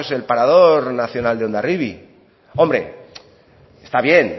pues el parador nacional de hondarribia hombre está bien